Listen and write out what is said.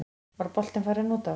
Var boltinn farinn út af?